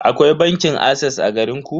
Akwai bankin ases a garinku?